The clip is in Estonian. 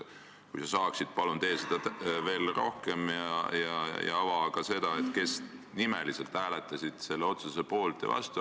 Kui sa saad, siis palun tee seda ja ava ka seda, kes hääletasid selle otsuse poolt ja vastu.